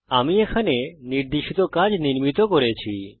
আমি এখানে নির্দেশিত কাজ নির্মিত করেছি